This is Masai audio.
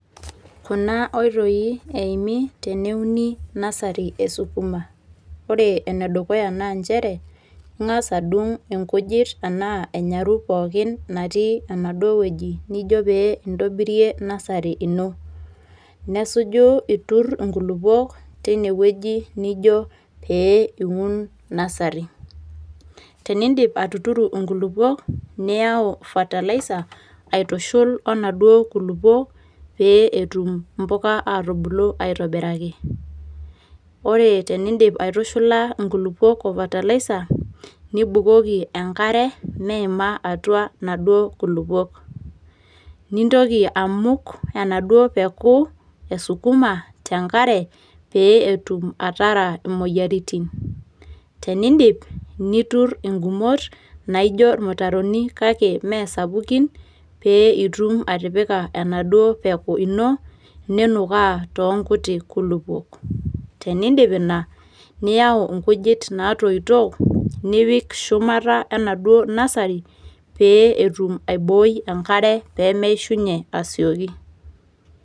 Kuna oitoi eimi teneuni nasari esukuma. Ore enedukuya na njere, ing'as adung' inkujit enaa enyaru pookin natii enaduo wueji nijo pe intobirie nasari ino. Nesuju itur inkulukuok teinewueji nijo pe in nasari. Teniidip atuturo enkulukuok, niau fertiliser aitushul onaduo kulukuok, pe etum imbuka atubulu aitobiraki. Ore teniidip aitushula inkulukuok o fertiliser ,nibukoki enkare meima atua inaduo kulukuok. Nintoki amuk enaduo peku esukuma tenkare, pe etum atara imoyiaritin. Teniidip, nitur igumot ,naijo irmutaroni kake meesapukin, pe itum atipika enaduo peku ino, ninukaa toonkuti kulukuok. Teniidip ina, niau inkujit natoito, nipik shumata enaduo nasari, pe etum aiboi enkare pemeishunye asioki.